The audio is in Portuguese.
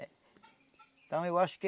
Então eu acho que...